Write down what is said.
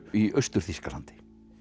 í Austur Þýskalandi